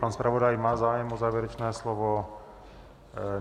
Pan zpravodaj má zájem o závěrečné slovo?